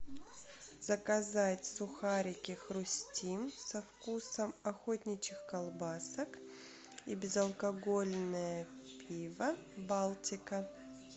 заказать сухарики хрустим со вкусом охотничьих колбасок и безалкогольное пиво балтика